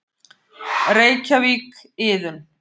Reykjavík, Iðunn.